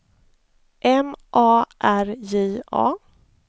M A R J A